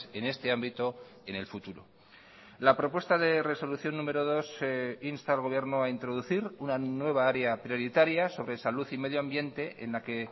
en este ámbito en el futuro la propuesta de resolución número dos insta al gobierno a introducir una nueva área prioritaria sobre salud y medio ambiente en la que